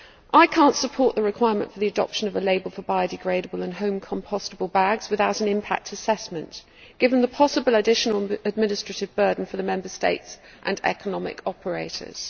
I cannot support the requirement for the adoption of a label for biodegradable and home compostable bags without an impact assessment, given the possible additional administrative burden for the Member States and economic operators.